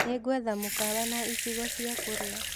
Nĩngwetha mũkawa na icigo cia kũrĩa.